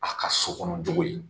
A ka sokɔnɔ jogo ye